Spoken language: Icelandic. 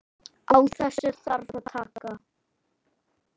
Á þessu þarf að taka.